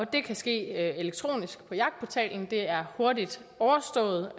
det kan ske elektronisk på jagtportalen det er hurtigt overstået